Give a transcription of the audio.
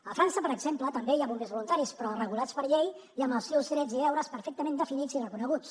a frança per exemple també hi ha bombers voluntaris però regulats per llei i amb els seus drets i deures perfectament definits i reconeguts